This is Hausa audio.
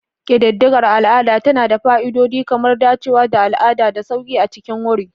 Ƙididdigar al'ada tana da fa'idodi kamar dacewa da al'adu da sauƙi a cikin wuri.